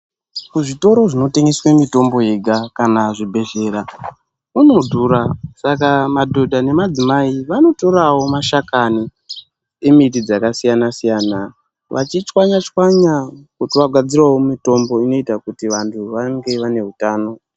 Kuzvitoro zvinotengeswa mitombo yega kana zvibhedhlera kuno dhura Saka madhodha nemadzimai anotorawo mashakani emiti dzakasiyana siyana achichwanya chwanya kuti vagadzirewo mutombo unoita kuti vantu vange vane hutano.